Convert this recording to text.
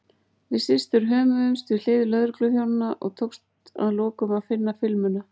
Við systur hömuðumst við hlið lögregluþjónanna og tókst að lokum að finna filmuna.